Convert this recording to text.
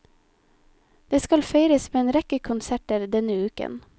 Det skal feires med en rekke konserter denne uken.